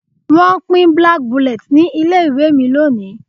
Wọ́n pín black bullet ní ilé ìwé mi lónìí